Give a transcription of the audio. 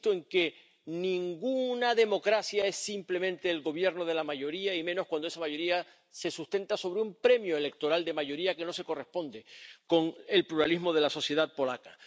Insisto en que ninguna democracia es simplemente el gobierno de la mayoría y menos cuando esa mayoría se sustenta sobre un premio electoral de mayoría que no se corresponde con el pluralismo de la sociedad polaca.